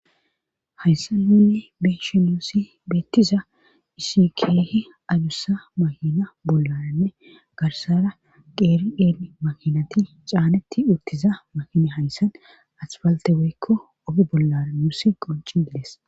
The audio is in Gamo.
Hayssanninne beshe nuusi beettiza isikeehi adussa mahina bollaranne garsara qeeri7en mahinati caanetti uttiza mahine hayssan asfalte weykko oge bollara nuusi qoncin dides